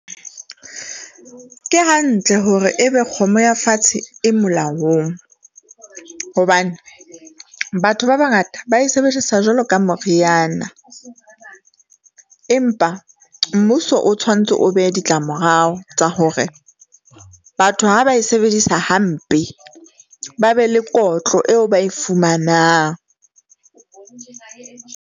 Ke hantle hore ebe kgomo ya fatshe e molaong hobane batho ba bangata ba e sebedisa jwalo ka moriana, empa mmuso o tshwantse o behe ditlamorao tsa hore batho ha ba e sebedisa hampe, ba be le kotlo eo ba e fumanang.